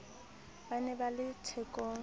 ba ne ba le thekong